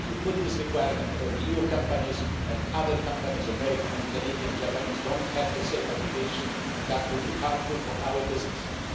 If you put this requirement on EU companies and other companies, American, Canadians, Japanese don't have the same obligation that would be harmful for our businesses.